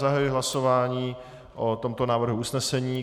Zahajuji hlasování o tomto návrhu usnesení.